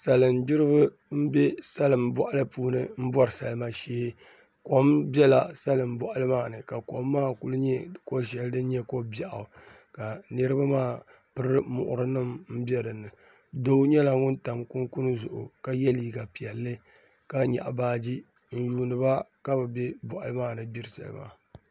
Salin gbiribi n bɛ salin boɣali ni n bori salima shee kom biɛla salin boɣali maa ni ka kom kuli nyɛ ko shɛli din nyɛ ko biɛɣu ka niraba maa piri muɣuri nim bɛ dinni doo nyɛla ŋun tam kunkun zuɣu ka yɛ liiga piɛlli ka nyaɣa baaji n yuundiba ka bi bɛ boɣali maa ni gbiri salima